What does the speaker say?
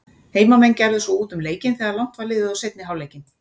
Heimamenn gerðu svo út um leikinn þegar langt var liðið á seinni hálfleikinn.